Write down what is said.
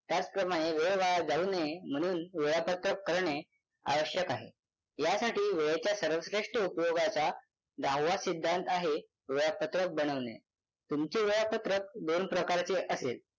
त्याप्रमाणे वेळ वाया जाऊ नये म्हणून वेळापत्रक करणे आवश्यक आहे. यासाठी वेळाच्या सर्वश्रेष्ठ उपयोगाचा दहावा सिद्धांत आहे वेळापत्रक बनवणे तुमचे वेळापत्रक दोन प्रकारचे असेल